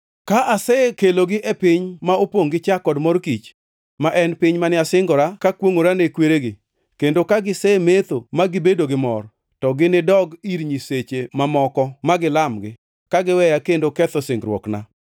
Ka asekelogi e piny ma opongʼ gi chak kod mor kich, ma en piny mane asingora kakwongʼora ne kweregi, kendo ka gisemetho ma gibedo gi mor, to ginidogi ir nyiseche mamoko ma gilamgi, kagiweya kendo ketho singruokna.